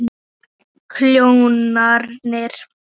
Og kjólarnir.